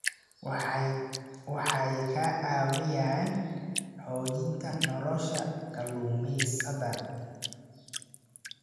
Waxay ka caawiyaan xoojinta nolosha kalluumaysatada.